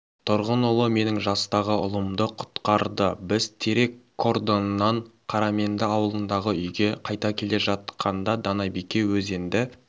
тұрғынұлы менің жастағы ұлымды құтқарды біз терек кордоннан қараменді ауылындағы үйге қайта келе жатқанда данабике өзенді